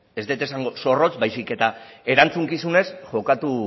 ez dut esango zorrotz baizik eta erantzukizunez jokatu